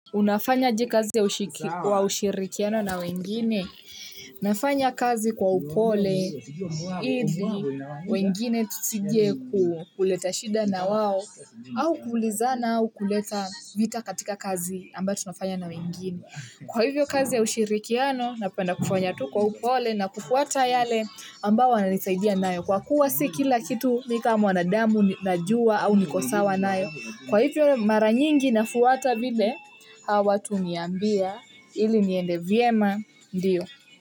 Unafanyaje kazi ya ushirikiano na wengine? Nafanya kazi kwa upole, ili, wengine tusije kuleta shida na wao, au kuulizana au kuleta vita katika kazi ambayo tunafanya na wengine. Kwa hivyo kazi ya ushirikiano, napenda kufanya tu kwa upole na kufuata yale ambao wananisaidia nayo. Kwa kuwa si kila kitu mi kama mwanadamu najua au niko sawa nayo. Kwa hivyo mara nyingi nafuata vile hao watu huniambia ili niende vyema, ndio.